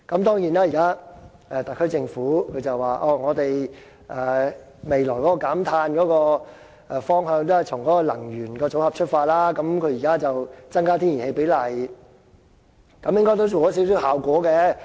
當然，現時特區政府說未來的減碳方向，都是從能源組合出發，它現在增加天然氣比例，應該也做到少許效果。